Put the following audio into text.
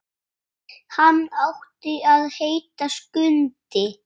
Hann átti að heita Skundi.